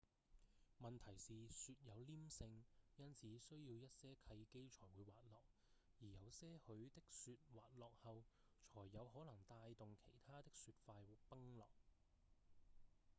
問題是雪有黏性因此需要一些契機才會滑落而有些許的雪滑落後才有可能帶動其他的雪塊崩落